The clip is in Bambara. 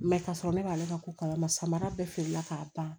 Mɛ ka sɔrɔ ne b'ale ka ko kalama samara bɛɛ feerela k'a ban